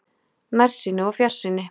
NÆRSÝNI OG FJARSÝNI